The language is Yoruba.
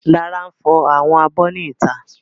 Lára n fọ àwọn abọ́ ní ìta